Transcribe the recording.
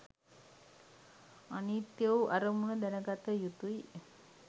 අනිත්‍ය වූ අරමුණු දැනගත යුතුයි.